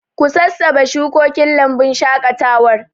Ku sassabe shukokin lambun shaƙatawar.